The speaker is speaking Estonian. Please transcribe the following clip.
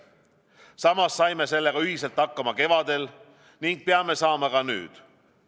Samas saime sellega ühiselt hakkama kevadel ning peame saama ka nüüd.